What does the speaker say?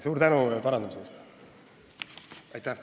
Suur tänu parandamise eest!